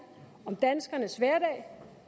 om danskernes hverdag